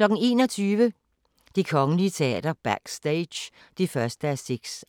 21:00: Det Kongelige Teater – Backstage (1:6)